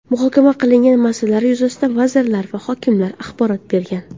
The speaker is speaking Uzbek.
Muhokama qilingan masalalar yuzasidan vazirlar va hokimlar axborot bergan.